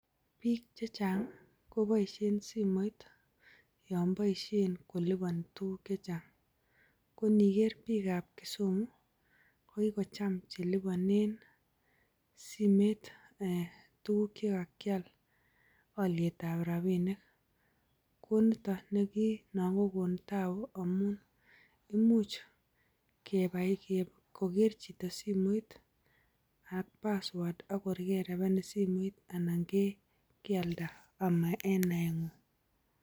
Biik che chang ko boishen simoit yon boishen koliboni tuguk chechang. Koniker biikab Kisumu kogicham che libonen simet tuguk che kakyal olyetab rabinik. Konito ne nan kogon taabu amun imuch koger chito simoit ak password ak kor kerebenin simoit anan kealda ama en naeng'ung.